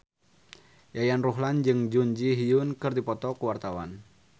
Yayan Ruhlan jeung Jun Ji Hyun keur dipoto ku wartawan